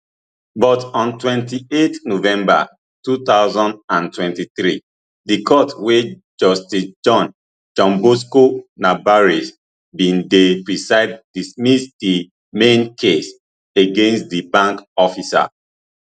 but on twenty-eight november two thousand and twenty-three di court wey justice john john bosco nabarese bin dey preside dismiss di main case against di bank officer